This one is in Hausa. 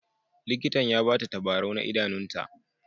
Likitan ya ba ta tabarau na idanunta.